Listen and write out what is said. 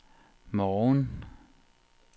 morgen